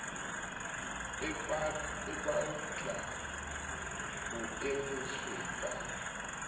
e balta ho emiswe ka